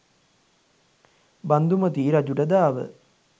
බන්ධුමති රජුට දාව